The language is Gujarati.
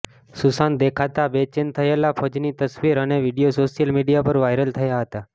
સુશાંત દેખાતા બેચેન થયેલા ફજની તસવીર અને વિડીયો સોશિયલ મીડિયા પર વાયરલ થયા હતા